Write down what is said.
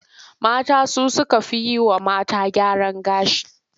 Mata su suka fi yi wa mata gyaran gashi.